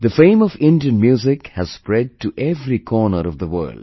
The fame of Indian music has spread to every corner of the world